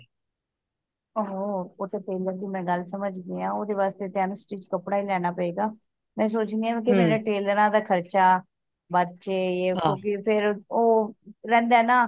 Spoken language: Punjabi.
ਆਹੋ ਉਹ ਤੇ ਮਈ ਗੱਲ ਸਮਝ ਗਿਆਂ ਓਹਦੇ ਵਾਸਤੇ ਤੇ unstitch ਕਪਦਸ ਲੈਣਾ ਪਏਗਾ ਮੈਂ ਸੋਚਣੀ ਆ ਕਿ ਟੇਲਰਾਂ ਦਾ ਖਰਚਾ ਬੱਚ ਜੇ ਫੇਰ ਉਹ ਰਹਿੰਦਾ ਏ ਨਾ